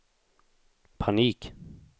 panik